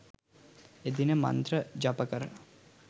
එදින මන්ත්‍ර ජපකර